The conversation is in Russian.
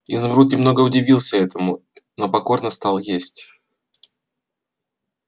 изумруд немного удивился этому но покорно стал есть